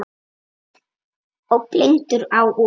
Og blindur á út.